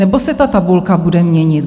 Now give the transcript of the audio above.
Nebo se ta tabulka bude měnit?